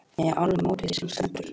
Ég er alveg á móti því sem stendur.